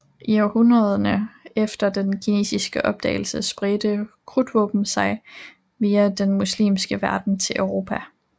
I århundrederne efter den kinesiske opdagelse spredte krudtvåben sig via den muslimske verden til Europa